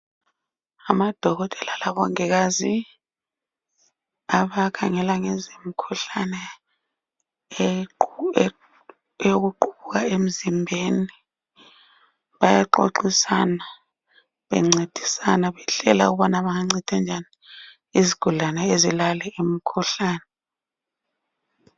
Abodokotela lomongikazi abakhangela ngezemikhuhlane eyokuqubuka emzimbeni bayaxoxisana bencedisana ukuhlela ukuthi bangancedisa njani izigulane ezilale imikhuhlane.